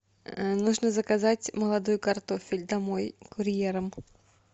нужно заказать молодой картофель домой курьером